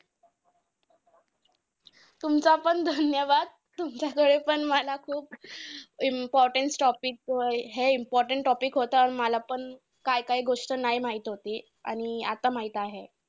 तुमचा पण धन्यवाद! तुमच्याकडे पण मला खूप important topic हे important topic होता. मला पण काय काय गोष्ट नाय माहित होती, आणि आता माहित आहे.